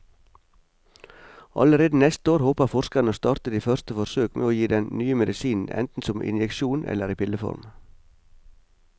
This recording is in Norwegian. Allerede neste år håper forskerne å starte de første forsøk med å gi den nye medisinen enten som injeksjon eller i pilleform.